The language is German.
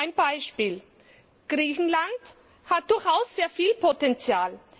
Ein Beispiel Griechenland hat durchaus sehr viel Potenzial.